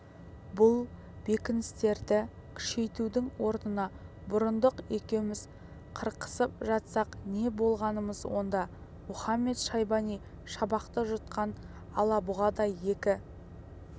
бұл бекіністерді күшейтудің орнына бұрындық екеуміз қырқысып жатсақ не болғанымыз онда мұхамед-шайбани шабақты жұтқан алабұғадай екі